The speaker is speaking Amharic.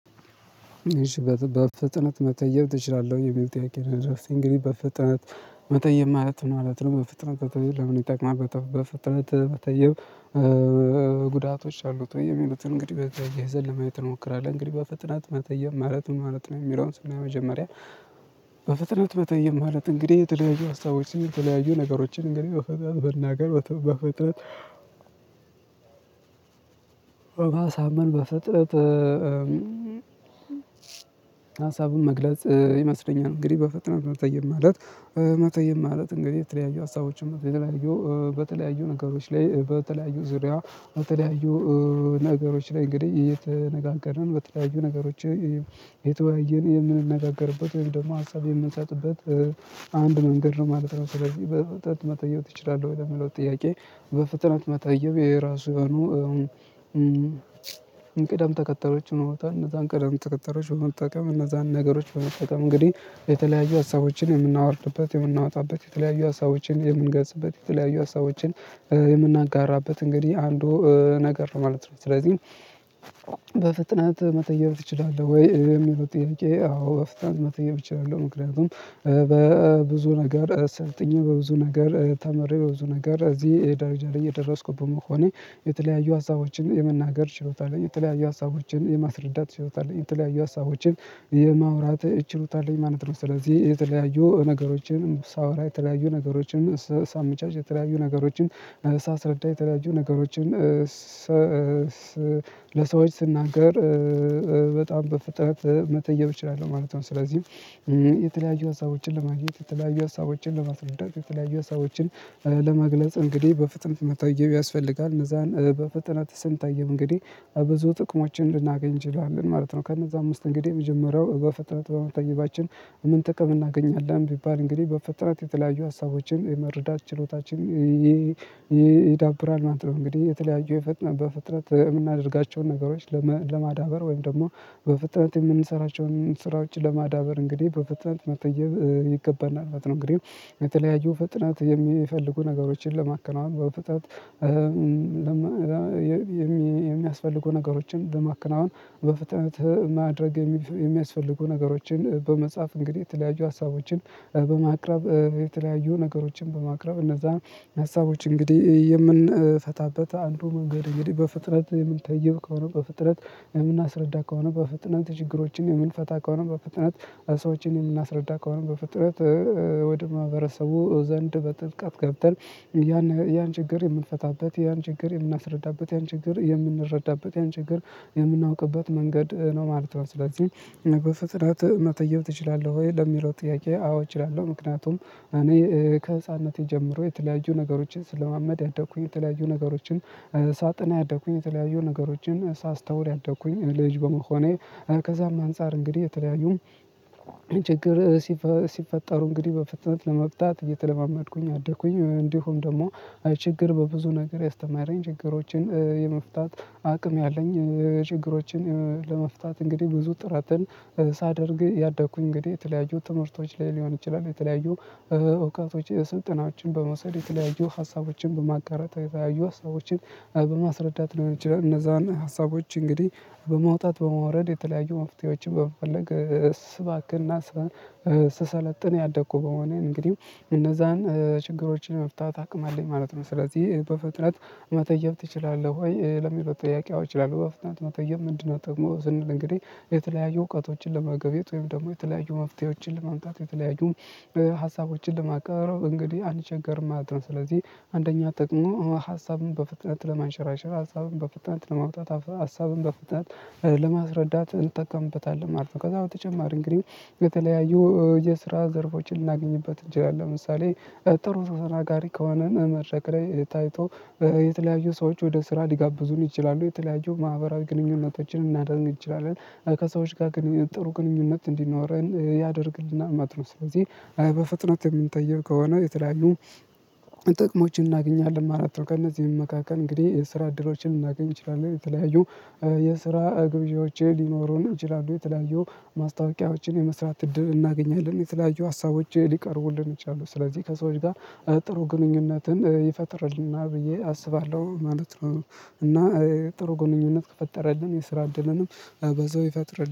በፍጥነት መጠየቅ ትችላለህ የሚል ጥያቄ ነው። የደረሰኝ እንግዲህ በፍጥነት መጠየቅ ማለት ምን ነው? በፍጥነት መጠየቅ በፍጥነት መጠየቅ? ጉዳቶች አሉት ወይ የሚሉትን እንግዲህ በተያየ ዘለማዊ እንሞክራለን። እንግዲህ በፍጥነት መጠየቅ ማለት ምን ማለት ነው? የሚለውን በመጀመሪያ በፍጥነት መጠየቅ ማለት እንግዲህ የተለያዩ ሀሳቦችን የተለያዩ ነገሮችን እንግዲህ በፍጥነት መናገር በፍጥነት በማሳመን በፍጥረት ሀሳቡን መግለጽ ይመስለኛል። እንግዲህ በፈተና መጠየቅ ማለት። መጠየቅ ማለት እንግዲህ የተለያዩ ሀሳቦችን የተለያዩ በተለያዩ ነገሮች ላይ በተለያዩ ዙሪያ በተለያዩ ነገሮች ላይ እንግዲህ እየተነጋገርን በተለያዩ ነገሮች እየተወያየን የምንነጋገርበት ወይም ደግሞ ሀሳብ የምንሰጥበት አንድ መንገድ ነው ማለት ነው። ስለዚህ በፍጥነት መጠየቅ ችላለህ ወይ የሚለው ጥያቄ? በፍጥነት መታየው የራሱ የሆኑ ቅደም ተከተሎች ነው። ቦታ እነዛን ቅደም ተከተሎች በመጠቀም እነዛን ነገሮች በመጠቀም እንግዲህ የተለያዩ ሀሳቦችን የምናወርድበት የምናወጣበት የተለያዩ ሀሳቦችን የምንገጽበት የተለያዩ ሀሳቦችን የምናጋራበት እንግዲህ አንዱ ነገር ማለት ነው። ስለዚህ በፍጥነት መጠየቅ ትችላለህ ወይ የሚለው ጥያቄ? አዎ በፍጥነት መጠየቅ እችላለሁ። ምክንያቱም በብዙ ነገር ሰልጥኜ በብዙ ነገር ተምሬ በብዙ ነገር እዚህ ደረጃ ላይ የደረስኩት በመሆኔ የተለያዩ ሀሳቦችን የመናገር ችሎታ አለኝ። የተለያዩ ሀሳቦችን የማስረዳት ችሎታ አለኝ። የተለያዩ ሀሳቦችን የማውራት ችሎታ አለኝ ማለት ነው። ስለዚህ የተለያዩ ነገሮችን ሳወራ የተለያዩ ነገሮችን ሳመቻች የተለያዩ ነገሮችን ሳስረዳ የተለያዩ ነገሮችን ለሰዎች ስናገር በጣም በፍጥነት መጠየቅ እችላለሁ ማለት ነው። ስለዚህም የተለያዩ ሀሳቦችን ለማግኘት የተለያዩ ሀሳቦችን ለማስወዳት የተለያዩ ሀሳቦችን ለመግለጽ እንግዲህ በፍጥነት መጠየቅ ያስፈልጋል። እነዛን በፍጥነት ስንጠይቅ እንግዲህ ብዙ ጥቅሞችን ልናገኝ እንችላለን ማለት ነው። ከነዛ ውስጥ እንግዲህ የመጀመሪያው በፍጥነት በመጠየቃችን ምን ጥቅም እናገኛለን? ቢባል እንግዲህ በፍጥነት የተለያዩ ሀሳቦችን የመረዳት ችሎታችን ይዳብራል ማለት ነው። እንግዲህ የተለያዩ በፍጥነት የምናደርጋቸውን ነገሮች ለማዳበር ወይም ደግሞ በፍጥነት የምንሰራቸውን ስራዎች ለማዳበር እንግዲህ በፍጥነት መጠየቅ ይገባናል። እንግዲህ በተለያዩ ፍጥነት የሚፈልጉ ነገሮችን ለማከናወን በፍጥነት የሚያስፈልጉ ነገሮችን በማከናወን በፍጥነት ማድረግ የሚያስፈልጉ ነገሮችን በመጻፍ እንግዲህ የተለያዩ ሀሳቦችን በማቅረብ የተለያዩ ነገሮችን በማቅረብ እነዛ ሀሳቦች እንግዲህ የምንፈታበት አንዱ መንገድ እንግዲህ በፍጥነት የምንጠይቅ ከሆነ በፍጥነት የምናስረዳ ከሆነ በፍጥነት ችግሮችን የምንፈታ ከሆነ በፍጥነት ሰዎችን የምናስረዳ ከሆነ በፍጥነት ወደ ማህበረሰቡ ዘንድ በጥልቀት ገብተን ያን ያን ችግር የምንፈታበት ያን ችግር የምናስረዳበት ያን ችግር የምንረዳበት ያን ችግር የምናውቅበት መንገድ ነው ማለት ነው። ስለዚህ በፍጥነት መጠየቅ ትችላለህ ወይ ለሚለው ጥያቄ? አዎ እችላለሁ። ምክንያቱም እኔ ከህፃንነቴ ጀምሮ የተለያዩ ነገሮችን ስለማመድ ያደኩኝ የተለያዩ ነገሮችን ሳጠና ያደኩኝ የተለያዩ ነገሮችን ሳስተውል ያደኩኝ ልጅ በመሆኔ ከዛም አንፃር እንግዲህ የተለያዩም ችግር ሲፈጠሩ እንግዲህ በፍጥነት ለመፍታት እየተለማመድኩኝ አደኩኝ። እንዲሁም ደግሞ ችግር በብዙ ነገር ያስተማረኝ ችግሮችን የመፍታት አቅም ያለኝ። ችግሮችን ለመፍታት እንግዲህ ብዙ ጥረትን ሳደርግ ያደኩኝ እንግዲህ የተለያዩ ትምህርቶች ላይ ሊሆን ይችላል የተለያዩ እውቀቶች ስልጠናዎችን በመውሰድ የተለያዩ ሀሳቦችን በማጋራት የተለያዩ ሀሳቦችን በማስረዳት ሊሆን ይችላል። እነዛን ሀሳቦች እንግዲህ በማውጣት በማውረድ የተለያዩ መፍትሄዎችን በመፈለግ ስባክንና ስሰለጥን ያደኩ በመሆኔ እንግዲህ እነዛን ችግሮችን ለመፍታት አቅም አለኝ ማለት ነው። ስለዚህ በፍጥነት መጠየቅ ትችላለህ? ወይ ለሚለው ጥያቄ አዎ እችላለሁ። በፍጥነት መጠየቅ ምንድነው? ጥቅሙ ስንል እንግዲህ የተለያዩ እውቀቶችን ለመገብየት ወይም ደግሞ የተለያዩ መፍትሄዎችን ለመምጣት የተለያዩ ሀሳቦችን ለማቅረብ እንግዲህ አልቸገርም ማለት ነው። ስለዚህ አንደኛ ጥቅሙ ሀሳብን በፍጥነት ለማንሸራሸር ሀሳብን በፍጥነት ለማውጣት ሀሳብን በፍጥነት ለማስረዳት እንጠቀምበታለን ማለት ነው። ከዛ በተጨማሪ እንግዲህ በተለያዩ የስራ ዘርፎችን ልናገኝበት እንችላለን። ለምሳሌ ጥሩ ተናጋሪ ከዋናን መረቅ ላይ ታይቶ የተለያዩ ሰዎች ወደ ስራ ሊጋብዙን ይችላሉ። የተለያዩ ማህበራዊ ግንኙነቶችን እናደርግ እንችላለን ከሰዎች ጋር ግንኙነት ጥሩ ግንኙነት እንዲኖረን ያደርግልና ማለት ነው። ስለዚህ በፍጥነት የምንጠየው ከሆነ የተለያዩ ጥቅሞችን እናገኛለን ማለት ነው። ከእነዚህም መካከል እንግዲህ የስራ እድሎችን ልናገኝ እንችላለን። የተለያዩ የስራ እግብዣዎች ሊኖሩን እንችላለን የተለያዩ ማስታወቂያዎችን የመስራት እድል እናገኛለን። የተለያዩ ሀሳቦች ሊቀርቡልን ይችላሉ። ስለዚህ ከሰዎች ጋር ጥሩ ግንኙነትን ይፈጥርልና ብዬ አስባለሁ ማለት ነው። እና ጥሩ ግንኙነት ከፈጠረልን የስራ እድልንም በዛው ይፈጥር